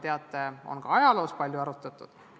Seda teemat on ajaloo jooksul palju arutatud.